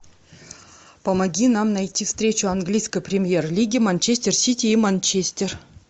помоги нам найти встречу английской премьер лиги манчестер сити и манчестер